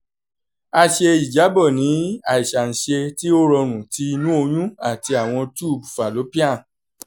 a ṣe ijabọ ni - aiṣanṣe ti o rọrun ti inu oyun ati awọn tube fallopian